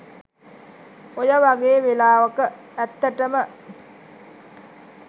ඔය වගේ වෙලාවක ඇත්තටම